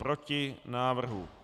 Proti návrhu.